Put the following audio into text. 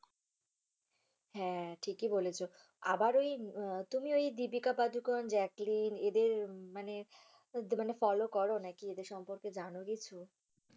হ্যা ঠিকই বলেছো আবার এই তুমি এই দীপিকা পাড়ুকোন, জ্যাকলিন এদের মানে মানে follow করো নাকি এদের সম্পর্কে জানো কিছু?